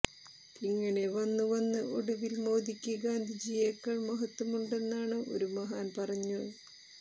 ഇങ്ങനെ വന്നു വന്ന് ഒടുവിൽ മോദിക്ക് ഗാന്ധിജിയേക്കാൾ മഹത്വമുണ്ടെന്നാണ് ഒരു മഹാൻ പറഞ്ഞി